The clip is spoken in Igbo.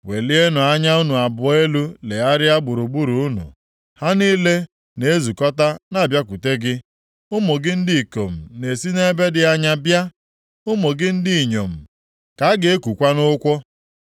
“Welienụ anya unu abụọ elu legharịa gburugburu unu, ha niile na-ezukọta na-abịakwute gị; ụmụ gị ndị ikom na-esi nʼebe dị anya bịa, ụmụ gị ndị inyom ka a ga-ekukwa nʼụkwụ.